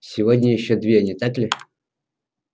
сегодня ещё две не так ли